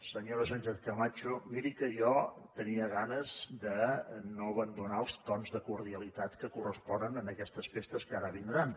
senyora sánchez camacho miri que jo tenia ganes de no abandonar els tons de cordialitat que corresponen en aquestes festes que ara vindran